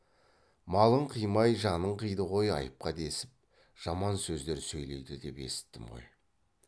малын қимай жанын қиды ғой айыпқа десіп жаман сөздер сөйлейді деп есіттім ғой